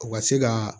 U ka se ka